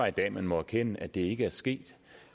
i dag må erkende at det ikke er sket